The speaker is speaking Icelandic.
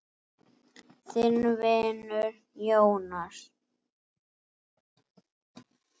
Þinn vinur, Jónas.